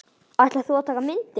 Ætlar þú að taka myndir?